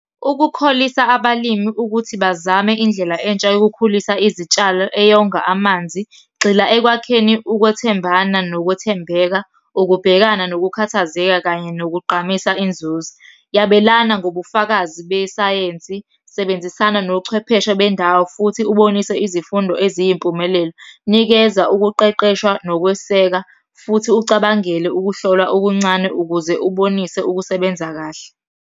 Ukukholisa abalimi ukuthi bazame indlela entsha yokukhulisa izitshalo eyonga amanzi, gxila ekwakheni ukwethembana nokwethembeka, ukubhekana nokukhathazeka, kanye nokugqamisa inzuzo. Yabelana ngobufakazi besayensi, sebenzisana nochwepheshe bendawo, futhi ubonise izifundo eziyimpumelelo. Nikeza ukuqeqeshwa nokweseka, futhi ucabangele ukuhlolwa okuncane ukuze ubonise ukusebenza kahle.